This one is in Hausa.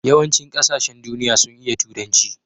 yawan cin ƙasashen duniya sun iya turanci